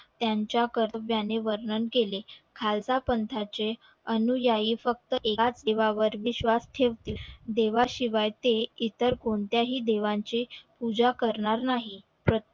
त्याच्या वर्णन केले खालसा पंथा चे अनुयायी फक्त याच देवावर विश्वास ठेवतील देवा शिवाय ते इतर कोणत्या हि देवा ची पूजा करणार नाही प्र